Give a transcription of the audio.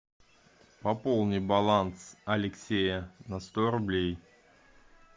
пополни баланс алексея на сто рублей